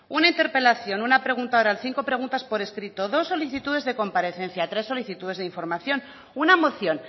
una interpelación una pregunta oral cinco preguntas por escrito dos solicitudes de comparecencia tres solicitudes de información una moción